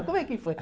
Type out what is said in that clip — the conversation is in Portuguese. Como é que foi?